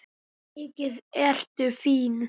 Mikið ertu fín!